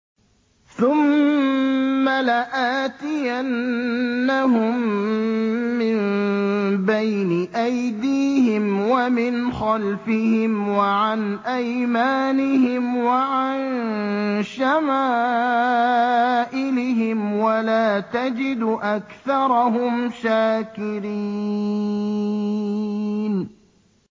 ثُمَّ لَآتِيَنَّهُم مِّن بَيْنِ أَيْدِيهِمْ وَمِنْ خَلْفِهِمْ وَعَنْ أَيْمَانِهِمْ وَعَن شَمَائِلِهِمْ ۖ وَلَا تَجِدُ أَكْثَرَهُمْ شَاكِرِينَ